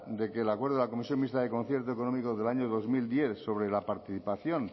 de que el acuerdo de la comisión mixta de concierto económico del año dos mil diez sobre la participación